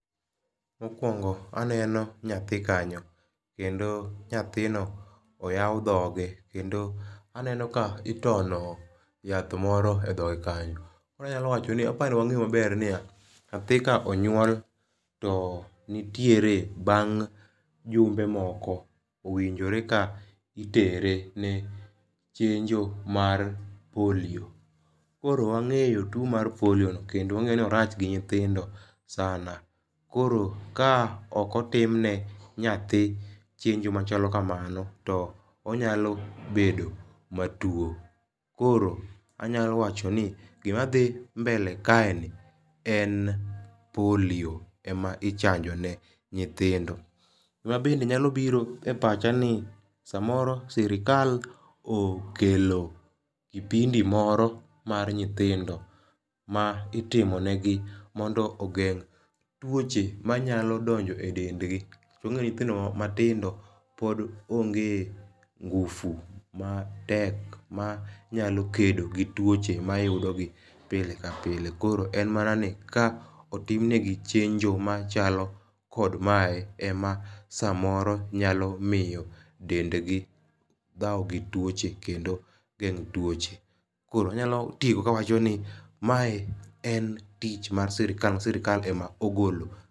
Mokuongo aneno nyathi kanyo kendo nyathino oyaw dhoge kendo aneno ka itono yath moro e dhoge kanyo anyalo wacho apa ni wang'e ma ber ni ya, nyathi ka onyuol to nitiere bang' jumbe moko owinjore ka itere ne chenjo mar polio. Koro wang'eyo two mar polio no kendo wang'eyo ni orach gi nyithindo sana koro ka ok otimne nyathi chenjo ma chalo kamano to onyalo bedo ma two koro anyalo wacho ni gi ma dhi mbele kae en polio ema ichanjo ne nyithindo. Gi ma bende nya biro e pacha ni sa moro sirkal okelo kipindi moro mar nyithindo ma itimo ne gi mondo ogeng' twoche ma nyalo donjo e dend gi to wang'eyo nyithindo ma tindo pod onge nguvu ma tek ma nyalo kedo gi twoche ma yudo gi pile ka pile. Koro en ma ni ka otim ne gi chenjo ma kamae ema sa moro nyalo miyo dend gi dhawo gi twoche kendo geng'o twoche koro anyalo tieko ka wacho ni ma e n tich mar sirkal ma sirkal ema ogolo.